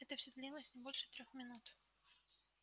это всё длилось не больше трёх минут